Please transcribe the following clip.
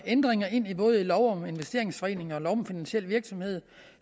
ændringer ind i både lov om investeringsforeninger lov om finansiel virksomhed